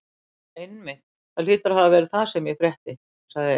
Einmitt, það hlýtur að hafa verið það sem ég frétti sagði